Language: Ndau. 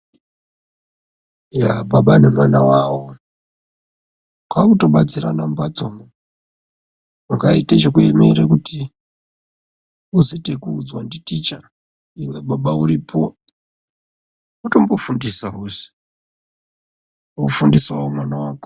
Baba nemwana wavo kwaakutobatsirane mumbatsomwo. Ungaite chekuemere kuti uzoite ekuudzwa nditicha, iwe baba uripo, wotombo fundisawo zve, wofundisawo mwana wako.